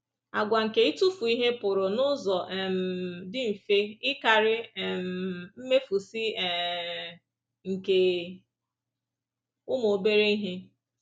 Àgwà nke ịtụfu ihe pụrụ n’ụzọ um dị mfe ịkarị um mmefusị um nke ụmụ obere ihe.